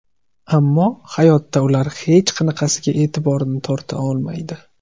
Ammo hayotda ular hech qanaqasiga e’tiborni torta olmaydi.